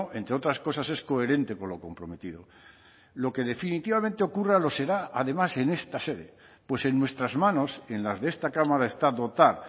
entre otras cosas es coherente con lo comprometido lo que definitivamente ocurra lo será además en esta sede pues en nuestras manos en las de esta cámara está dotar